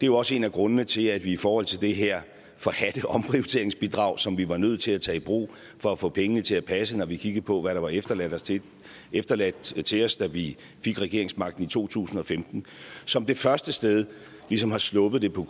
jo også en af grundene til at vi i forhold til det her forhadte omprioriteringsbidrag som vi var nødt til at tage i brug for at få pengene til at passe når vi kiggede på hvad der var efterladt til efterladt til os da vi fik regeringsmagten i to tusind og femten som det første sted ligesom har sluppet det på